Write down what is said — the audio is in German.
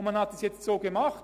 Man hat dies nun so gemacht: